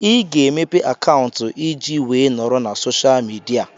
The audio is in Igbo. Ị ga-emepe akaụntụ ị ji wee nọrọ na soshal midia